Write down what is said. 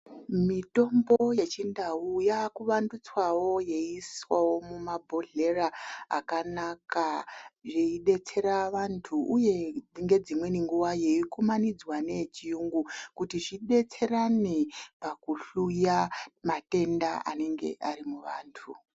Mitombo yechindau yakuwandutswawo yeiswawo mumabhohlera akanaka. Zveidetsera andu, uye ngedzimweni nguva yeikumanidzwa neyechiyungu kuti zvidetserane pakuhluya matenda anenge ane antu .